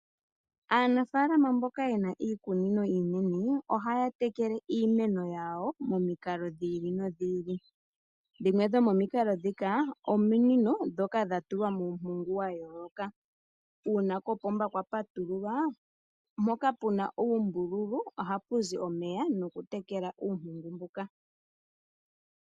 Aanafalama mboka yena iikunino iinene ohaya tekele iimeno yawo momikalo dhili no dhili, dhimwe dho momikalodhika, ominino dhoka dha tulwa muumpugu wa yooloka, uuna kopomba kwa patululwa mpoka puna uumbululu oha puzi omeya noku tekela uumpungu mbuka.